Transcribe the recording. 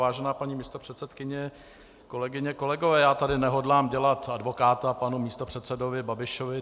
Vážená paní místopředsedkyně, kolegyně, kolegové, já tady nehodlám dělat advokáta panu místopředsedovi Babišovi.